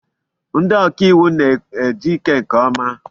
Ndị ọkàiwu na ejike nkeọma.